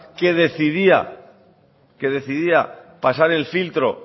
que decidía pasar el filtro